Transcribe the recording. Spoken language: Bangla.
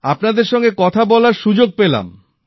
আপনাদের সঙ্গে কথা বলার সুযোগ পেলাম